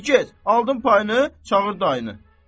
De get, aldın payını, çağır dayını.